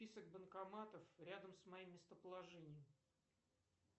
список банкоматов рядом с моим местоположением